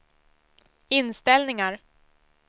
inställningar